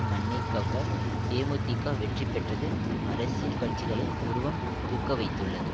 மண்ணை கவ்வ தேமுதிக வெற்றி பெற்றது அரசியல் கட்சிகளை புருவம் தூக்கவைத்துள்ளது